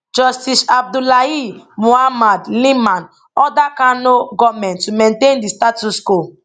justice abdullahi muhammad liman order kano goment to maintain di status quo